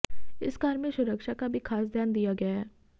इस कार में सुरक्षा का भी ख़ास ध्यान दिया गया है